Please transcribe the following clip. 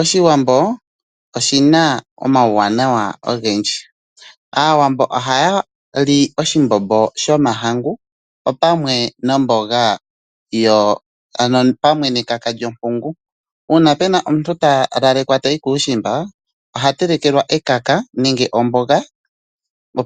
Oshiwambo oshi na omauwanawa ogendji. Aawambo ohaya li oshimbombo shomahangu pamwe nekaka lyompungu. Uuna pu na omuntu ta lalekwa tayi kuushimba oha telekelwa ekaka nenge omboga